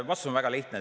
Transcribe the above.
Vastus on väga lihtne.